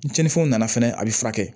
Ni cɛnnifɛnw nana fɛnɛ a bɛ furakɛ